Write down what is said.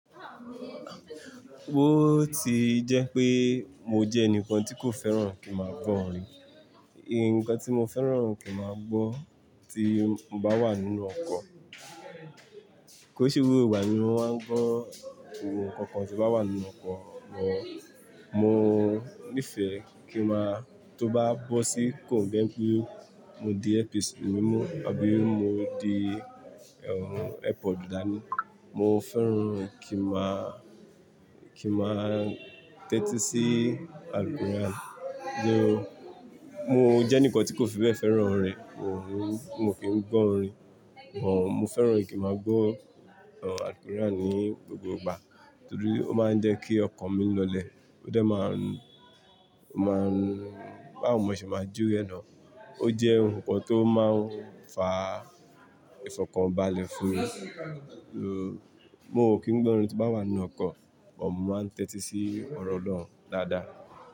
Bóòtì jẹ́ pé mo jẹ́ ẹnìkan tí kò fẹ́ràn kí n máa gbọ́ orin. Ǹnkan tí mo fẹ́ràn kí n máa gbọ́ tí mo bá wà nínú ọkọ̀, kó ṣe gbogbo ìgbà nímo máa gbọ́ ohun kankan tí ó bá wà nínú ọkọ̀ mọ́. Mo nífẹ̀ẹ́ kí n máa tó bá bọ́ sí kò n jẹ́ pé mo di earpiece mímú àbí mo di airpod dá ní. Mo fẹ́ràn kí n máa, kí n máa tẹ́tí sí album rẹ̀. Mo jẹ́ ẹnìkan tí kò fi bẹ́ẹ̀ fẹ́ràn orin, mo kí n gbọ́ orin, bó mo fẹ́ràn kí n máa gbọ́ album ní gbogbo ìgbà torí ó máa ń jẹ́ kí ọkàn mi lọ́lẹ̀, ó dá máa ń, ó máa ń bá wo mo ṣe máa jù we ẹ nà. Ó jẹ́ ohun kan tó máa ń fa ìfọ̀kànbalẹ̀ fún mi. Mo kí n gbọ́ orin tí n bá wà nínú ọkọ̀, bó mo máa ń tẹ́tí sí ọ̀rọ̀ olóun dáadáa.